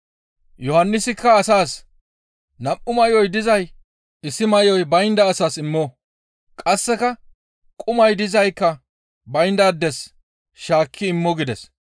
Yohannisikka asaas, «Nam7u may7oy dizay issi may7oy baynda asas immo; qasseka qumay dizaykka bayndaades shaakki immo» gides.